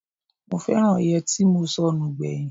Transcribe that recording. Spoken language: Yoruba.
Mo fẹ́ràn yẹtí mo sọnù gbẹ̀yìn.